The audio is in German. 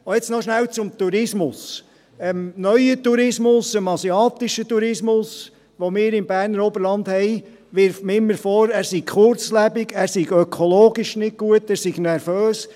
Und nun noch rasch zum Tourismus: Dem neuen Tourismus, dem asiatischen Tourismus, den wir im Berner Oberland haben, wirft man immer vor, er sei kurzlebig, er sei ökologisch nicht gut, er sei nervös.